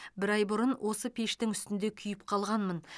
бір ай бұрын осы пештің үстінде күйіп қалғанмын